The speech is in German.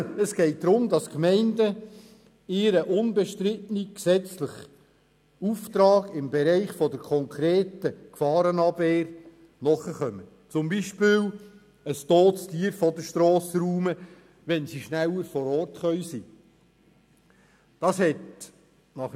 Es geht darum, dass die Gemeinden ihrem unbestrittenen gesetzlichen Auftrag im Bereich der konkreten Gefahrenabwehr nachkommen, zum Beispiel ein totes Tier von der Strasse räumen, wenn sie schneller vor Ort sein können.